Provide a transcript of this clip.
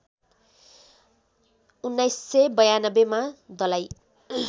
१९९२ मा दलाइ